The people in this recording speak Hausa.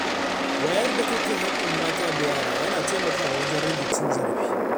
Wayar da kai kan haƙƙin mata da yara yana taimakawa wajen rage cin zarafi.